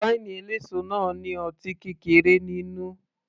Wáínì eléso náà ní ọtí kékeré nínú